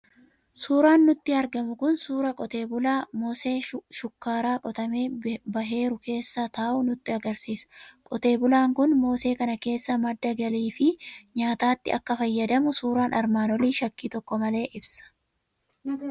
Suuraan nutti argamu kun suuraa qotee bulaa mosee shukkaaraa qotamee baheeru keessa taa'u nutti argisiisa. Qotee bulaan kun mosee kana akka madda galii fi nyaataatti akka fayyadamu suuraan armaan olii shakkii tokko malee ibsa.